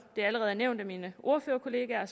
det allerede er nævnt af mine ordførerkollegaer